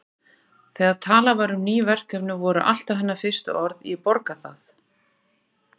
Þegar talað var um ný verkefni voru alltaf hennar fyrstu orð: Ég borga það